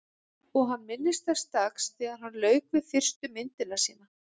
Og hann minnist þess dags þegar hann lauk við fyrstu myndina sína.